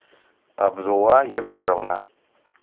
абдулла егоровна